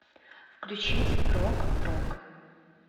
включить прог рок